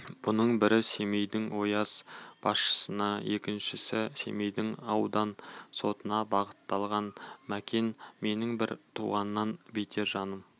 бұның бірі семейдің ояз басшысына екіншісі семейдің аудан сотына бағытталған мәкен менің бір туғаннан бетер жаным